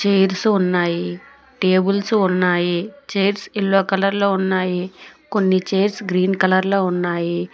Chairs ఉన్నాయి tables ఉన్నాయి chairs yellow colour లో ఉన్నాయి కొన్ని చైర్స్ గ్రీన్ కలర్ లో ఉన్నాయి.